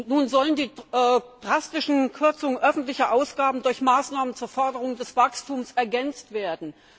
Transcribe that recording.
Nun sollen die drastischen Kürzungen öffentlicher Ausgaben durch Maßnahmen zur Förderung des Wachstums ergänzt werden.